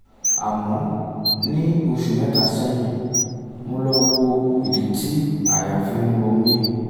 àmọ́ ní oṣù mẹ́ta sẹ́yìn mo lọ wo ìdí tí àyà fi ń um ro mí